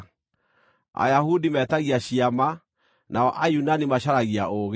Ayahudi metagia ciama, nao Ayunani macaragia ũũgĩ,